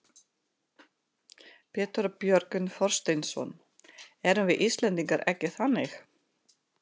Pétur Björgvin Þorsteinsson: Erum við Íslendingar ekki þannig?